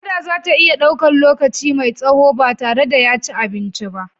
Kada za ta iya ɗaukan lokaci mai tsaho ba tare da ya ci abinci ba.